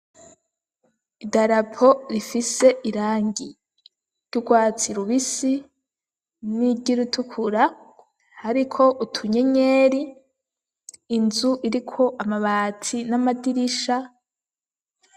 Idarapo rifise irangi ry'ugwatsi rubisi n'iry'urutukura hariko utunyenyeri inzu iriko amabati n'amadirisha.